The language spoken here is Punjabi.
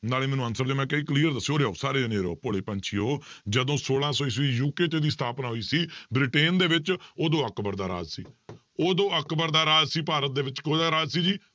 ਨਾਲੇ ਮੈਨੂੰ answer ਦਿਓ clear ਦੱਸੋ ਉਰੇ ਆਓ ਸਾਰੇ ਜਾਣੇ ਉਰੇ ਆਓ ਭੋਲੇ ਪੰਛੀਓ ਜਦੋਂ ਛੋਲਾਂ ਸੌ ਈਸਵੀ UK 'ਚ ਇਹਦੀ ਸਥਾਪਨਾ ਹੋਈ ਸੀ ਬ੍ਰਿਟੇਨ ਦੇ ਵਿੱਚ ਉਦੋਂ ਅਕਬਰ ਦਾ ਰਾਜ ਸੀ ਉਦੋਂ ਅਕਬਰ ਦਾ ਰਾਜ ਸੀ ਭਾਰਤ ਦੇ ਵਿੱਚ ਕਿਹਦਾ ਰਾਜ ਸੀ ਜੀ